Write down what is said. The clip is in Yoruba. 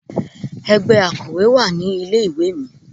Ẹgbẹ́ Akòwé wà ní ilé ìwé mi.